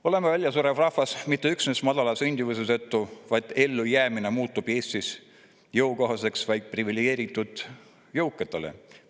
Oleme väljasurev rahvas mitte üksnes madala sündimuse tõttu, vaid ka seetõttu, et ellujäämine muutub Eestis jõukohaseks vaid privilegeeritud jõukatele.